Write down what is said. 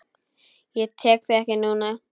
Ég tek þig ekki núna.